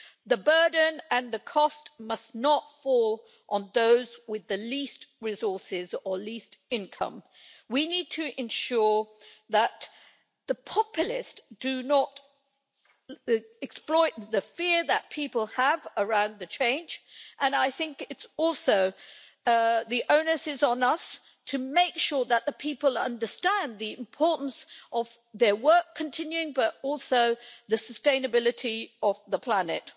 The burden and the cost must not fall on those with the least resources or least income. We need to ensure that the populists do not exploit the fear that people have around the change, and the onus is on us to make sure that the people understand the importance not only of their work continuing, but also the sustainability of the planet.